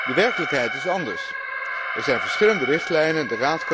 De werkelijkheid is anders. Er zijn verschillende richtlijnen.